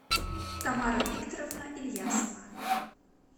тамара викторовна ильясова